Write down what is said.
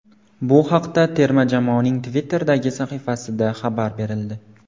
Bu haqda terma jamoaning Twitter’dagi sahifasida xabar berildi.